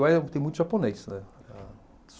Lá eh tem muito japonês, né? A